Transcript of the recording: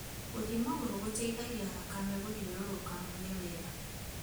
Gũthiĩ magũrũ gũteithagia thakame gũthiũrũrũka mwĩrĩ wega